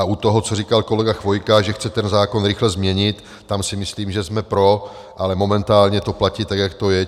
A u toho, co říkal kolega Chvojka, že chce ten zákon rychle změnit, tam si myslím, že jsme pro, ale momentálně to platí tak, jak to je.